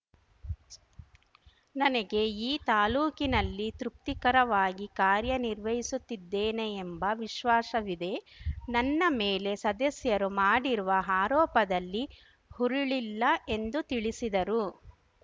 ನನಗೆ ಈ ತಾಲೂಕಿನಲ್ಲಿ ತೃಪ್ತಿಕರವಾಗಿ ಕಾರ್ಯನಿರ್ವಹಿಸುತ್ತಿದ್ದೇನೆ ಎಂಬ ವಿಶ್ವಾಸವಿದೆ ನನ್ನ ಮೇಲೆ ಸದಸ್ಯರು ಮಾಡಿರುವ ಆರೋಪದಲ್ಲಿ ಹುರುಳಿಲ್ಲ ಎಂದು ತಿಳಿಸಿದರು